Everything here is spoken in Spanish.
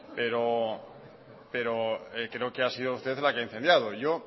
pero creo que ha sido usted la que ha incendiado yo